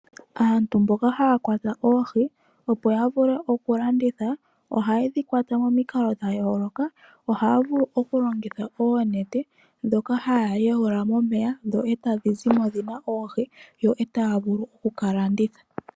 Aantu mboka haya kwata oohi, opo ya vule okulanditha ohaye dhi kwata momikalo dhayoloka, ohaya vulu okulongitha oonete ndhoka haya yuula momeya etadhi zimo dhina oohi, yo etaya vulu okukalanditha.